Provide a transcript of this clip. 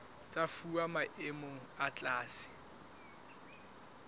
tsa fuwa maemo a tlase